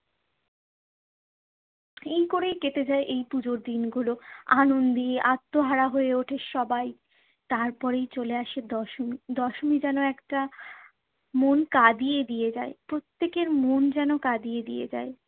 এই করেই কেটে যায় এই পুজোর দিন গুলো। আনন্দে আত্মহারা হয়ে ওঠে সবাই। তারপরেই চলে আসে দশমী। দশমী যেন একটা মন কাঁদিয়ে দিয়ে যায়, প্রত্যেকের মন যেন কাঁদিয়ে দিয়ে যায়।